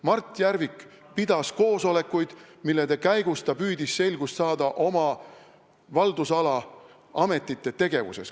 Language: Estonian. Mart Järvik pidas koosolekuid, mille käigus ta püüdis saada selgust oma haldusala ametite tegevuses.